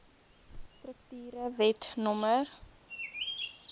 strukture wet no